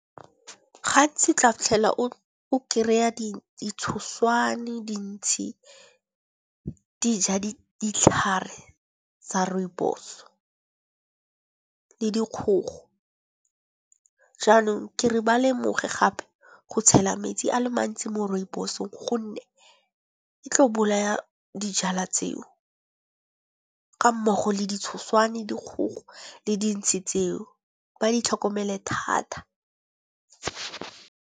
Gantsi tla fitlhela o kry-a ditshoswane, dintsi dija ditlhare tsa rooibos le dikgogo. Jaanong ke re ba lemoge gape go tshela metsi a le mantsi mo rooibos-ong gonne e tlo bolaya dijalwa tseo. Ka mmogo le ditshoswane, dikgogo le dintsi tseo ba di tlhokomele thata.